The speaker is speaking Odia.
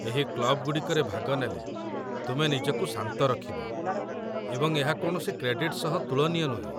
ଏହି କ୍ଲବ୍‌ଗୁଡ଼ିକରେ ଭାଗ ନେଲେ ତୁମେ ନିଜକୁ ଶାନ୍ତ ରଖିବ, ଏବଂ ଏହା କୌଣସି କ୍ରେଡିଟ୍‌ ସହ ତୁଳନୀୟ ନୁହେଁ।